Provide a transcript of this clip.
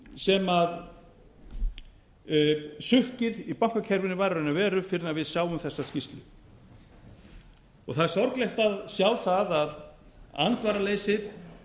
sem sukkið í bankakerfinu var í raun og veru fyrr en við sáum þessa skýrslu það er sorglegt að sjá það að andvaraleysið